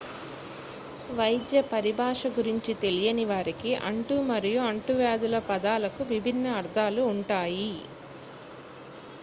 వైద్య పరిభాష గురించి తెలియని వారికి అంటు మరియు అంటువ్యాధుల పదాలకు విభిన్న అర్థాలు ఉంటాయి